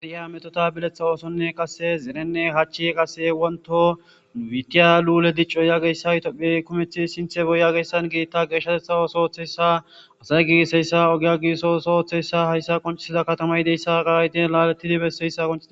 Adihiya metota biletha oosonne qase zerenne hachchi qasewonto wiitiya luule dicco yageyssa ytopphe kumethi sinthe boyagessan giitta geeshshatetha osooththeyssa asay giigiseyssa ogiya giiso sooththeyssa hayssa qoncisida katamay deyssa qarayti laalettidi besseyssa kocieda.